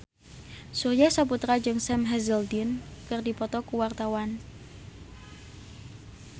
Surya Saputra jeung Sam Hazeldine keur dipoto ku wartawan